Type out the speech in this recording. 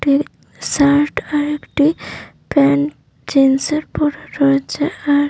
shirt আর একটি pant জিন্সের এর পড়া রয়েছে আর--